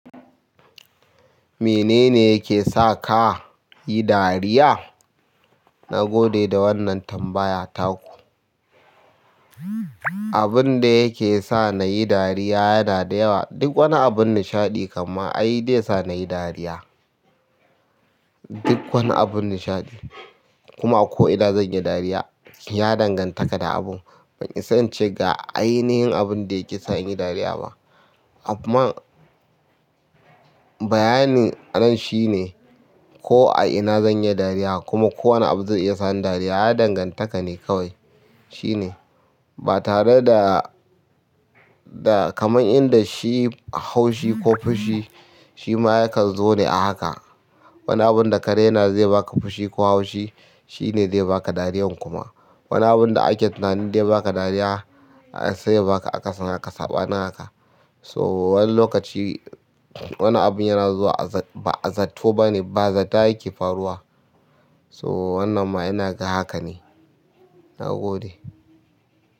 "Mene ne yake sa ka yi dariya?" Na gode da wannan tambaya taku. Abinda yake sa nayi dariya yana da yawa. Duk wani abun nishaɗi kamma ai dai ya sa nayi dariya. Duk wani abun nishaɗi. Kuma ko ina zan yi dariya, ya dangantaka da abu. Ban isa incd ga ainihin abunda yake sa in yi dariya ba. Afman bayanin nan shine ko a ina zan iya dariya kuma ko wane abu zai iya sa ni dariya, ya danganta ka ne kawai. Shine. Ba tare da, da kamar inda shi haushi ko fushi, shi ma yakan zo ne a haka. Wani abun da ka raina zai baka fushi ko haushi, shine zai baka dariyan kuma. Wani abun da ake tunani dai baka dariya, sai ya baka akasin haka, saɓani haka. So, wani lokaci wani abun yana zuwa a zatto bane, bazata yake faruwa. So wannan ma inaga hakane, nagode.